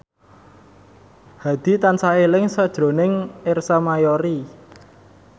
Hadi tansah eling sakjroning Ersa Mayori